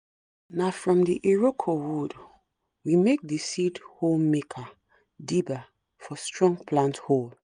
na from iroko wood we make the seed hole maker(dibber) for strong plant hole